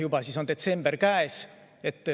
Ja siis on juba detsember käes.